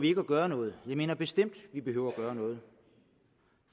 gøre noget … jeg mener bestemt vi behøver at gøre noget